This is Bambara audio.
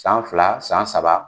San fila san saba